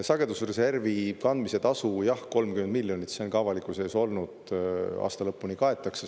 Sagedusreservi kandmise tasu 30 miljonit – see on ka avalikkuse ees olnud – aasta lõpuni kaetakse.